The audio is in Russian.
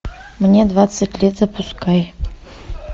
мне двадцать лет запускай